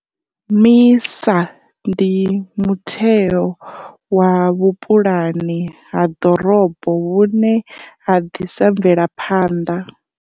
MISA ndi mutheo wa vhupulani ha ḓorobo vhune ha ḓisa mvelaphanḓa.